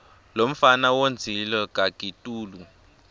lomfana wondzile kakitulu